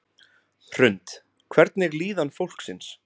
Hrund: Hvernig er líðan fólksins?